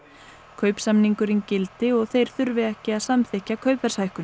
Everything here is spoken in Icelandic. kaupsamningurinn gildi og þeir þurfi ekki að samþykkja